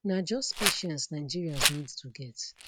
na just patience nigerians need to get